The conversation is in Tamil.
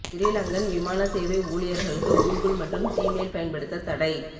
சிறிலங்கன் விமான சேவை ஊழியர்களுக்கு கூகுல் மற்றும் ஜிமெயில் பயன்படுத்த தடை